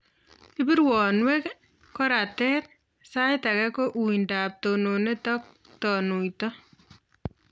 Ipu rwonwek, koratet, saitake ko uindop tononet ak tanuito